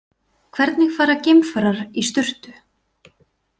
Hvernig fara geimfarar í sturtu?